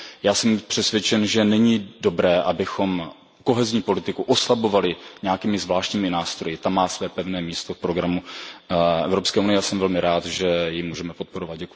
Já jsem přesvědčen, že není dobré, abychom kohezní politiku oslabovali nějakými zvláštními nástroji, ta má své pevné místo v programu EU a já jsem velmi rád, že ji můžeme podporovat.